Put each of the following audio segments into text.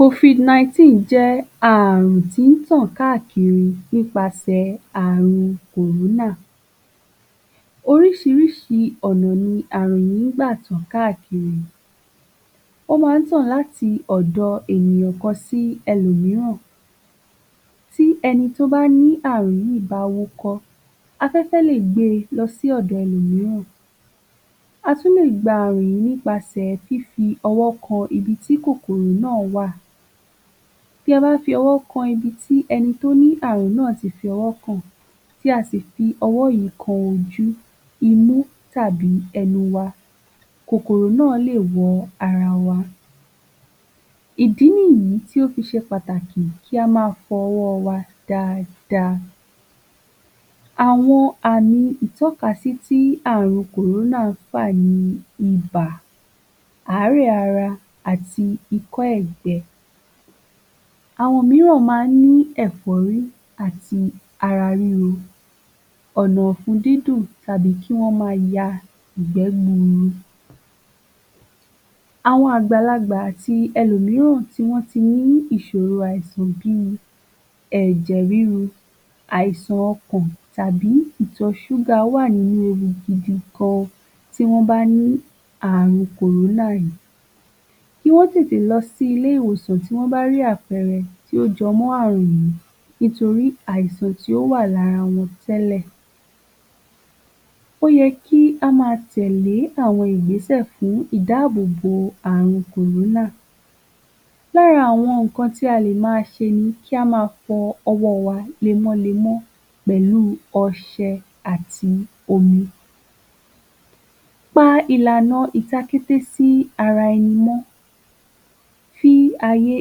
Covid-19 jẹ́ ààrùn tí ń tàn káàkiri nípasẹ̀ ààrun kòrónà. Oríṣìíríṣìí ọ̀nà ni ààrùn yìí ń gbà tàn káàkiri. Ó máa ń tàn láti ọ̀dọ̀ ènìyàn kan sí ẹlòmíràn. Tí ẹni tó bá ní ààrùn yìí bá wúkọ́, afẹ́fẹ́ lè gbé e lọ sí ọ̀dọ̀ ẹlòmíràn. A tún lè gba ààrùn yìí nípasẹ̀ fífi ọwọ́ kan ibi tí kòkòrò náà wà. Tí a bá fi ọwọ́ kan ibi tí ẹni tó ní ààrùn náà ti fi ọwọ́ kàn, tí a sì fi ọwọ́ yìí kan ojú, imú tàbí ẹnu wa, kòkòrò náà lè wọ ara wa. Ìdí nìyí tí ó fi ṣe pàtàkì kí a máa fọ ọwọ́ wa dáadáa. Àwọn àmì ìtọ́kasí tí ààrùn kòrónà ń fà ni ibà, àárẹ̀ ara àti ikọ́-ẹ̀gbẹ. Àwọn mìíràn máa ní ẹ̀fọ́rí àti ara ríro, ọ̀nà-ọ̀fun dídùn àbí kí wọ́n máa ya ìgbẹ́ gbuuru. Àwọn àgbàlagbà àti ẹlòmíràn tí wọ́n ti ní ìṣòro àìsàn bí i ẹ̀jẹ̀-ríru, àìsàn ọkàn tàbí ìtọ̀ súgà wà nínú ewu gidi gan-an tí wọ́n bá ní ààrùn kòrónà yìí. Kí wọ́n tètè lọ sí ilé-ìwòsàn tí wọ́n bá rí àpẹẹrẹ tí ó jọ mọ́ ààrùn yìí nítorí àìsàn tí ó wà lára wọn tẹ́lẹ̀. Ó yẹ kí á máa tẹ̀lé àwọn ìgbésẹ̀ fún ìdáàbòbò ààrùn kòrónà. Lára àwọn nǹkan tí a lè máa ṣe ni kí a máa fọ ọwọ́ wa lemọ́lemọ́ pẹ̀lú ọṣẹ àti omi. Pa ìlànà ìtakété sí ara ẹni mọ́, fi ààyè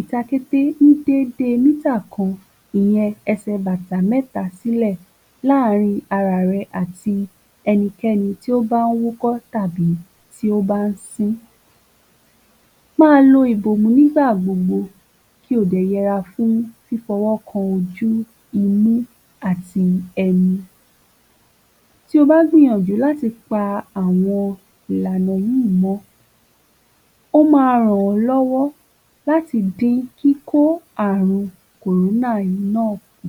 ìtakété ní déédé mítà kan, ìyẹn ẹsẹ̀-bàtà mẹ́ta sílẹ̀ láàrin ara rẹ àti ẹnikẹ́ni tó bá ń wúkọ́ tàbí tí ó bá ń sín. Máa lo ìbòmú nígbà gbogbo kí o dẹ̀ yẹra fún fífọwó kan ojú, imú àti ẹnu. Tí o bá gbìnyànjú láti pa àwọn ìlànà yìí mọ́, ó máa ràn ọ́ lọ́wọ́ láti dín kíkó ààrùn kòrónà yìí náà kù.